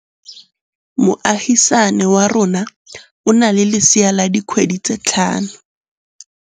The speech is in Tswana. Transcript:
Moagisane wa rona o na le lesea la dikgwedi tse tlhano.